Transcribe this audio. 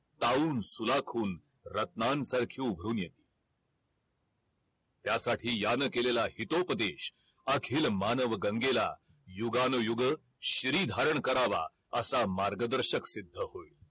पाहून सुलाखून रात्नांसारखी उठून येतात त्यासाठी यान केलेला हितोपदेश अखिल मानव गंगेला युगान युग शिरी धारण करावा असा मार्ग दर्शक सिद्ध होईल